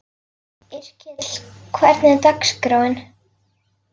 Yrkill, hvernig er dagskráin?